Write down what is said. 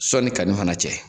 Sɔni kanni fana cɛ.